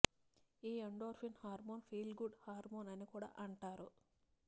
ఈ ఎండోర్ఫిన్ హార్మోన్నే feel good hormone అని కూడా అంటారు